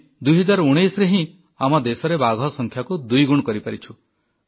ଆମେ 2019ରେ ହିଁ ଆମ ଦେଶରେ ବାଘ ସଂଖ୍ୟାକୁ ଦୁଇଗୁଣ କରିପାରିଛୁ